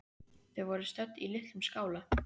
Þau voru stödd í litlum skála.